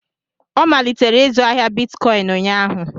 Ọ malitere ịzụ ahịa bitcọịn ụnyaahụ.